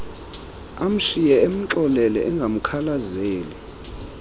emshiye emxolele engamkhalazeli